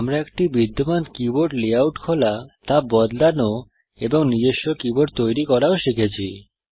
আমরা একটি বিদ্যমান কীবোর্ড লেআউট খোলা তা বদলানো এবং নিজস্ব কীবোর্ড তৈরি করাও শিখেছি